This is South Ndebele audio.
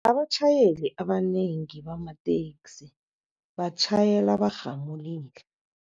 Abatjhayeli abanengi bamateksi batjhayela barhamulile.